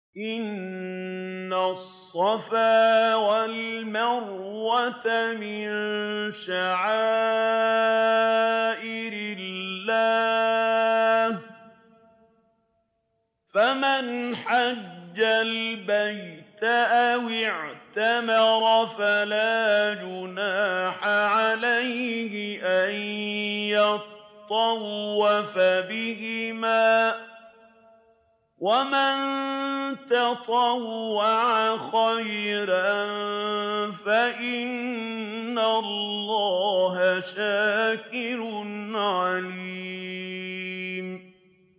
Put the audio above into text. ۞ إِنَّ الصَّفَا وَالْمَرْوَةَ مِن شَعَائِرِ اللَّهِ ۖ فَمَنْ حَجَّ الْبَيْتَ أَوِ اعْتَمَرَ فَلَا جُنَاحَ عَلَيْهِ أَن يَطَّوَّفَ بِهِمَا ۚ وَمَن تَطَوَّعَ خَيْرًا فَإِنَّ اللَّهَ شَاكِرٌ عَلِيمٌ